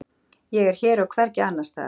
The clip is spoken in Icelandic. Ég er hér og hvergi annars staðar.